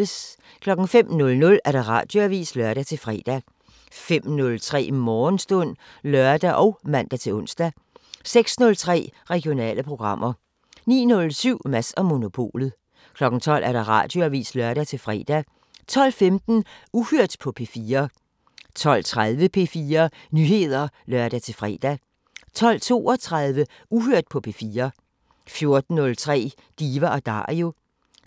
05:00: Radioavisen (lør-fre) 05:03: Morgenstund (lør og man-ons) 06:03: Regionale programmer 09:07: Mads & Monopolet 12:00: Radioavisen (lør-fre) 12:15: Uhørt på P4 12:30: P4 Nyheder (lør-fre) 12:32: Uhørt på P4 14:03: Diva & Dario 16:03: